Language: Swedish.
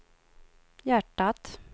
hjärtat